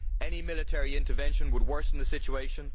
Any military intervention would worsen the situation.